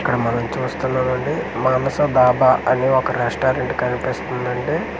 ఇక్కడ మనం చూస్తున్నాం అండి మనసు డాబా అని ఒక రెస్టారెంట్ కనిపిస్తుదండి .